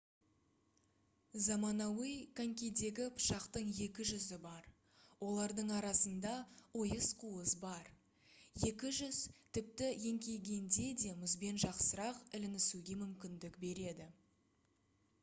заманауи конькидегі пышақтың екі жүзі бар олардың арасында ойыс қуыс бар екі жүз тіпті еңкейгенде де мұзбен жақсырақ ілінісуге мүмкіндік береді